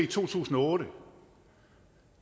to tusind og otte